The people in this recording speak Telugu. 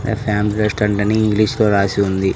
ఫ్యామిలీ రెస్టారెంట్ అని ఇంగ్లీషులో రాసి ఉంది.